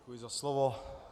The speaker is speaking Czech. Děkuji za slovo.